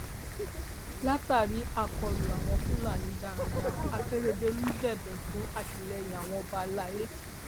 látàrí àkọlù àwọn fúlàní darandaran akérèdọlù bẹbẹ fún àtìlẹyìn àwọn ọba alay